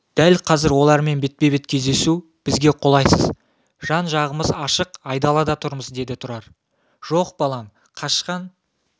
дәл қазір олармен бетпе-бет кездесу бізге қолайсыз жан-жағымыз ашық айдалада тұрмыз деді тұрар жоқ балам қашқан